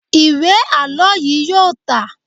Ìwé àlọ́ yíì yóò tà.